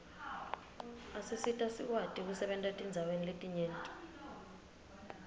asisita sikwati kusebenta etindzaweni letinyenti